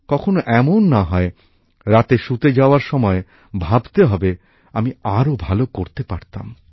কখনো এমন না হয় রাতে শুতে যাওয়ার সময়ে ভাবতে হবে আমি আরো ভাল করতে পারতাম